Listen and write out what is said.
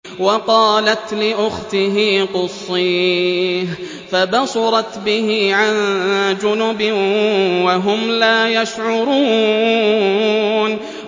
وَقَالَتْ لِأُخْتِهِ قُصِّيهِ ۖ فَبَصُرَتْ بِهِ عَن جُنُبٍ وَهُمْ لَا يَشْعُرُونَ